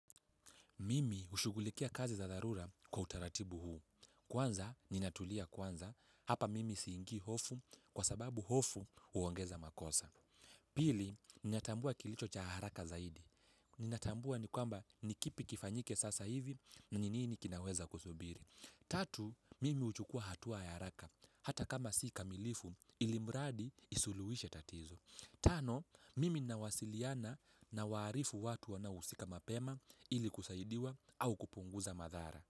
Mimi ushugulikia kazi za dharura kwa utaratibu huu. Kwanza, ninatulia kwanza. Hapa mimi siingi hofu, kwa sababu hofu uongeza makosa. Pili, ninatambua kilicho cha haraka zaidi. Ninatambua ni kwamba, ni kipi kifanyike sasa hivi, ni nini kinaweza kusubiri. Tatu, mimi huchukua hatua ya haraka. Hata kama si kamilifu, ilimradi isuluishe tatizo. Tano, mimi nawasiliana nawarifu watu wanahusika mapema, ili kusaidiwa au kupunguza madhara.